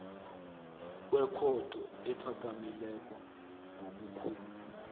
kwekhotho ephakemeko ngobukhulu